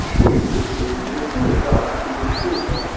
что интересует интересует да что интересует там